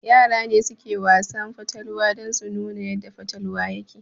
Yara ne suke Wasan fatalwa dan su nuna yadda fatalwa yake